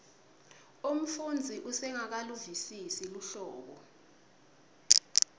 umfundzi usengakaluvisisi luhlobo